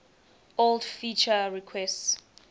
old feature requests